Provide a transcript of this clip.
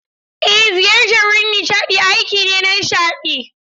Ej, ziyartar wurin nishadi aiki ne na nishaɗi.